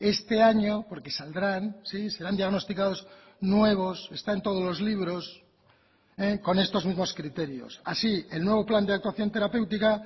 este año porque saldrán sí serán diagnosticados nuevos está en todos los libros con estos mismos criterios así el nuevo plan de actuación terapéutica